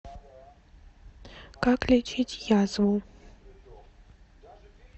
как лечить язву